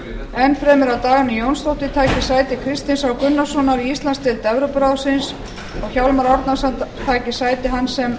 enn fremur að dagný jónsdóttir taki sæti kristins h gunnarssonar í íslandsdeild evrópuráðsins og hjálmar árnason taki sæti hans